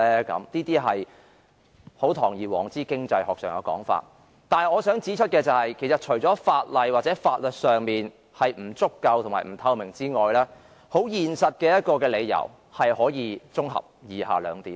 這些是堂而皇之的經濟學說法。可是，我想指出的是，其實除了法例或法律條文不足夠和不透明外，現實的理由可以綜合為以下兩點。